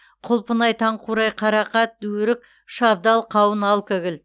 құлпынай таңқурай қарақат өрік шабдалы қауын алкоголь